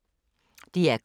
DR K